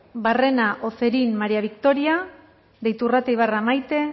barrera ocerin maría victoria de iturrate ibarra maite